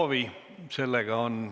Ei soovi.